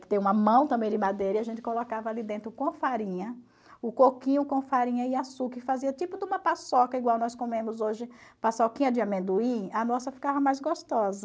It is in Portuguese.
que tem uma mão também de madeira, e a gente colocava ali dentro com a farinha, o coquinho com farinha e açúcar, e fazia tipo de uma paçoca, igual nós comemos hoje, paçoquinha de amendoim, a nossa ficava mais gostosa.